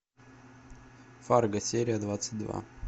фарго серия двадцать два